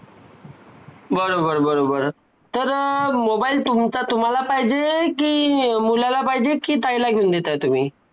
त्यामुळे plastic हे आजकाल जगा मध्ये खूप मोठे.अ व धोकादायक मानले जाते. plastic सध्या जिथे नाही तिथे दिसायला लागतय.